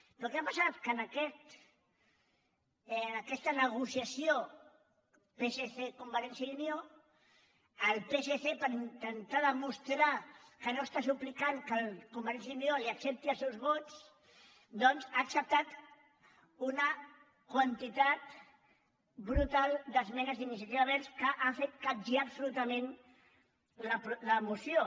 però què ha passat que en aquesta negociació psc · convergència i unió el psc per intentar demostrar que no està suplicant que convergència i unió li ac·cepti els seus vots doncs ha acceptat una quantitat brutal d’esmenes d’iniciativa verds que ha fet capgirar absolutament la moció